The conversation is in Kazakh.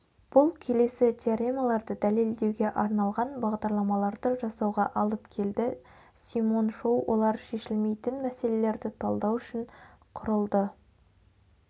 бұл келесі теоремаларды дәлелдеуге арналған бағдарламаларды жасауға алып келді симон шоу олар шешілмейтін мәселелерді талдау үшін құрылды